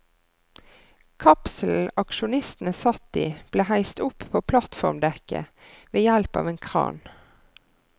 Kapselen aksjonistene satt i ble heist opp på plattformdekket ved hjelp av en kran.